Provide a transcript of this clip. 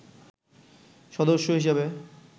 সদস্য হিসাবে